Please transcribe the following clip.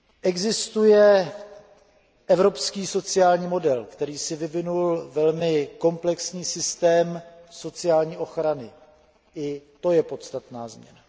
Existuje evropský sociální model, který si vyvinul velmi komplexní systém sociální ochrany, i to je podstatná změna.